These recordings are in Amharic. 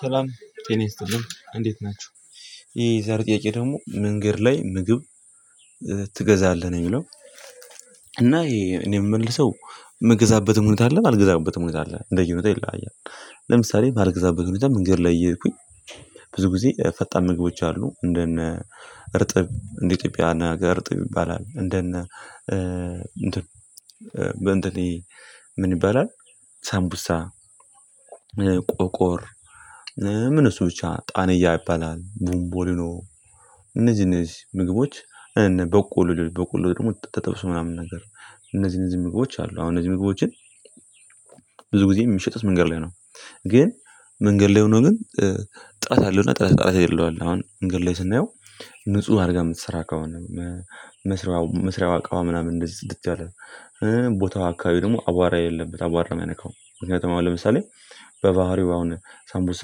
ሰላም ጤና ይጥልን እንዴት ናችሁ። የዛሬው ጥያቄ ደግሞ መንገድ ላይ ምግብ ትገዛለህ ነው የሚለው? እና እኔ የምመልሰው የምገዛበትም ሁኔታ አለ የማልገዛበትም ሁኔታ አለ እንደየሁኔታው ይለያያል። ለምሳሌ የማልገዛበት ሁኔታ መንገድ ላይ እየሄድኩኝ ብዙ ጊዜ ፈጣን ምግቦች አሉ እንደነ እርጥብ እንደ ኢትዮጵያ ሀገር እርጥብ ይባላል እንደነ እንትን ምን ይባላል ሳምቡሳ ቆቆር ምን እሱ ብቻ ጣኒያ ይባላል ቦምቦልኖ እነዚህ እነዚህ ምግቦች በቆሎ በቆሎ ደግሞ ተጠብሶ ምናምን ነገር እነዚህን እነዚህ ምግቦች አሉ አሁን እነዚህ ምግቦችን ብዙ ጊዜ የሚሸጡት መንገድ ላይ ነው። ግን መንገድ ላይ ሆኖ ግን ጥራት ያለው እና ጥራት የሌለው አለ። አሁን መንገድ ላይ ስናየው ንጹህ አድርጋ የምትሰራ ከሆነ መስሪያው መስሪያው አቋዋ ምናምን እንደዚህ ጽድት ያለ ቦታው አካባቢዊ ደግሞ አቧራ የሌበት አቧራ የማይነካው ምክንያቱም ለምሳሌ በባህሪው አሁን ሳምቡሳ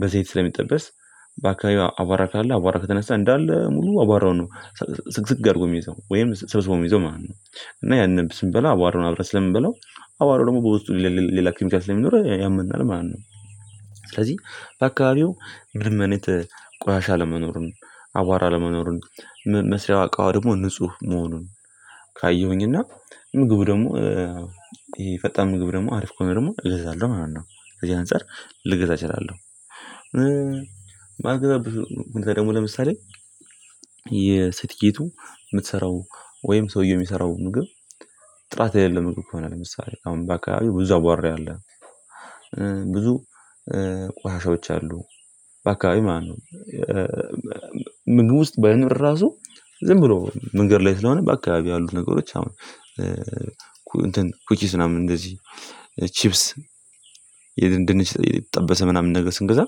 በዘይት ስለሚጠበስ በአካባቢው አቧራ ካለ አቧራ ከተነሳ እንዳለ ሙሉ አቧራው ነው። ስግስግ አድርጎ የሚይዘው ወይም ስብስቦ የሚይዘው ማለት ነው። እና ያንን ስንበላ አቧራውን አብረን ስለምንበላው አቧራው ደግሞ በውስጡ ሌላ ኬሚካል ስለሚኖረው ያመናል ማለት ነው። ስለዚህ በአካባቢው ምንም አይነት ቆሻሻ አለመኖሩን አቧራ አለመኖሩን መስሪያው እቃዋ ደግሞ ንጹህ መሆኑን ካየሁኝ እና ምግቡ ደግሞ ይሄ ፈጣን ምግብ ደግሞ አሪፍ ከሆነ ደግሞ እገዛለሁ ማለት ነው። ከዚህ አንፃር ልገዛ እችላለሁ። ማለት ደግሞ ለምሳሌ የሴትዪቱ የምትሰራው ወይም ሰውየው የሚሰራው ምግብ ጥራት የሌለው ምግብ ከሆነ ለምሳሌ አሁን በአካባቢው ብዙ አቧራ ያለ ብዙ ቋሻሻዎች አሉ በአካባቢው ማነት ነው? ምግብ ውስጥ ባይኖር ራሱ ዝም ብሎ መንገድ ላይ ስለሆነ በአካባቢ ያሉት ነገሮች አሁን እንትን ኩኪስ ምናምን እንደዚህ ቺፕስ የድንች የተጠበሰ ምናምን ነገር ስንገዛ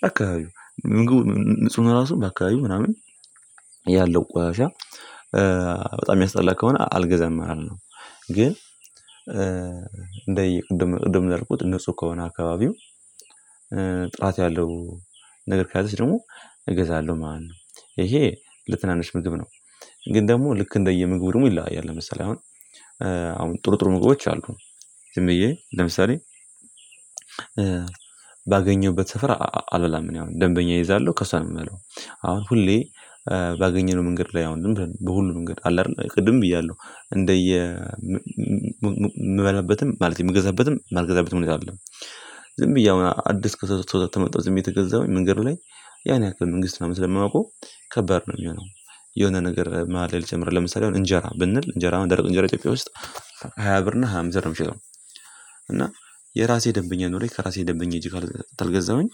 በአካባቢው ምግቡ ንጹህ ራሱ በአካባቢው ምናምን ያለው ቆሻሻ በጣም የሚያስጠላ ከሆነ አልገዛም ማለት ነው። ግን እንደየ ቅድም ቅድም እንዳልኩት ንጹህ ከሆነ አካባቢው ጥራት ያለው ነገር ከያዘች ደግሞ እገዛለሁ ማለት ነው። ይሄ ለትናንሽ ምግብ ነው ግን ደግሞ ልክ እንደየምግቡ ደግሞ ይለያያል። ለምሳሌ አሁን ጥሩ ጥሩ ምግቦች አሉ ዝም ብዬ ለምሳሌ ባገኘሁበት ስፍራ አልበላም እኔ አሁን ደንበኛ እይዛለሁ ከሷ ነው የምበላው። አሁን ሁሌ ባገኘነው መንገድ ላይ አሁን ዝም ብለን በሁሉም መንገድ አለ አይደል ቅድም ብያለሁ እንደየ ማለት የምገዛበትም የማልገዛበትም ሁኔታ አይደለም ዝም ብዬ አሁን አዲስ ከሰው ሰው የተመጣው ዝም ብዬ የተገዛሁኝ መንገዱ ላይ ያን ያክል መንግስት ምናምን ስለማያውቀው ከባድ ነው የሚሆነው። የሆነ ነገር መሃል ላይ ልጨምርልህ ለምሳሌ አሁን እንጀራ ብንል እንጀራ አሁን ደረቅ እንጀራ ኢትዮጵያ ውስጥ ሃያ ብር እና ሃያ አምስት ብር ነው የሚሸጠው። እና የራሴ ደንበኛ ኑሮኝ ከራሴ ደንበኛ ሄጄ ካልገዛሁኝ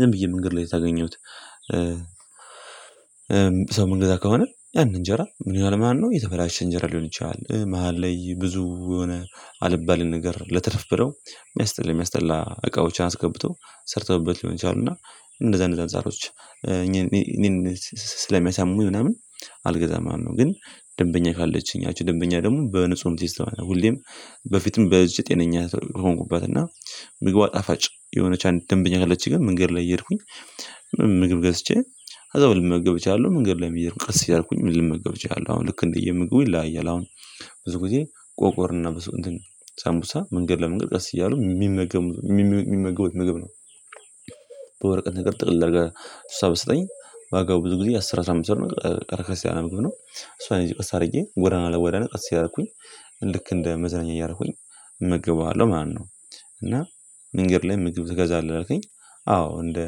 ዝም ብዬ መንገድ ላይ ካገኘሁት ሰው የምንገዛ ከሆነ ያን እንጀራ ምን ይሆናል ማለት ነው? የተበላሸ እንጀራ ሊሆን ይችላል መሃል ላይ ብዙ የሆነ አልባሌ ነገር ለትርፍ ብለው የሚያስጠላ የሚያስጠላ እቃዎችን አስገብተው ሰርተውበት ሊሆን ይችላል እና እንደዛ እንደዛ አንጻሮች እኔ ስለሚያሳሙኝ ምናምን አልገዛም ማለትነው። ግን ደንበኛ ካለችኝ ያቺ ደንበኛ ደግሞ በንጹህ ነው ይስተዋል ሁሌም በፊትም በዚች ጤነኛ የሆንኩባት እና ምግቧ ጣፋጭ የሆነች አንድ ደንበኛ ካለችኝ ግን መንገድ ላይ እየሄድኩኝ ምግብ ገዝቼ አዛው ልመገብ እችላለሁ መንገድ ላይም እየሄድኩኝ ቀስ እያልኩኝ ልመገብ እችላለሁ አሁን ልክ እንደየምግቡ ይለያያል። አሁን ብዙ ጊዜ ቆቆርና በሰው እንትን ሳምቡሳ መንገድ ለመንገድ ቀስ እያሉ የሚመገቡ ምግብ ነው። በወረቀት ነገር ጥቅልል እንድርጋ እሷ ብሰጠኝ ዋጋው ብዙ ጊዜ አስር አስራ አምስት ብር ነው ቀረ ክርስቲያን ምግብ ነው እሷን እዚህ ወስድብህ ወደ አናለ ወደ ነገር ሲያደርግኝ ልክ እንደ መዝናኛ እያደረኩኝ እመገበዋለሁ ማለትነው። እና መንገድ ላይ ምግብ ትገዛለህ አልከኝ? አዎ እንደ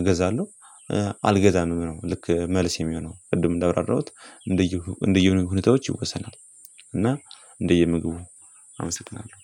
እገዛለሁ አልገዛም ነው ልክ መልስ የሚሆነው ቅድም እንዳብራራሁት እንደየሁ እንደየሁኔታዎች ይወሰናል። እና እንደየ ምግቡ አመሰግናለሁ